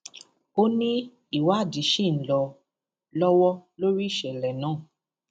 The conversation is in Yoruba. ó ní ìwádìí ṣì ń lọ lọwọ lórí ìṣẹlẹ náà